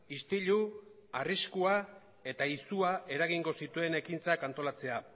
istilu arriskua eta izua eragingo zituen ekintzak antolatzea